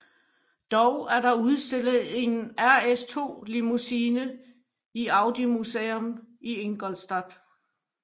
Dog er der udstillet en RS2 Limousine i Audi Museum i Ingolstadt